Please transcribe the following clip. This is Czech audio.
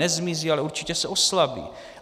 Nezmizí, ale určitě se oslabí.